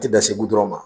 Tɛ dan segu dɔrɔn ma